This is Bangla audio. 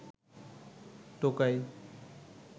টোকাই